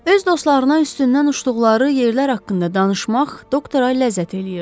Öz dostlarına üstündən uçduqları yerlər haqqında danışmaq doktora ləzzət eləyirdi.